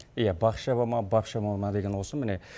иә бақ шаба ма бап шаба ма деген осы міне